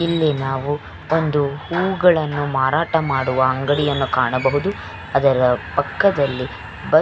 ಇಲ್ಲಿ ನಾವು ಒಂದು ಹೂವುಗಳನ್ನು ಮಾರಾಟ ಮಾಡುವ ಅಂಗಡಿಯನ್ನು ನಾವು ಕಾಣಬಹುದು ಅದರ ಪಕ್ಕದಲ್ಲಿ ಬಸ್ಸ --